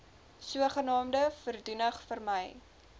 sogenaamde voordoening vermy